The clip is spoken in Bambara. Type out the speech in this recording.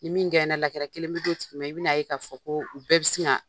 Ni min kelen bi d'o tigi ma . I bi na ye k'a fɔ ko u bɛɛ bi sin ka